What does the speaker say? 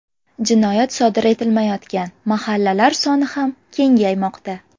Jinoyat sodir etilmayotgan mahallalar soni ham kengaymoqda.